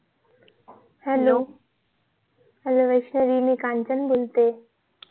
hello hello Vaishnavi मी कांचन बोलतीये